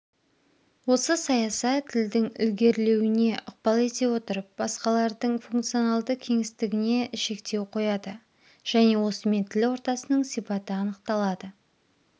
осы саяса тілдің ілгерлеуіне ықпал ете отырып басқалардың функционалды кеңістігіне шектеу қояды және осымен тіл ортасының сипаты анықталады